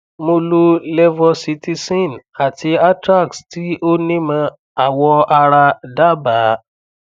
mo lo levocitizine àti atrax tí onímọ awọ ara dábaa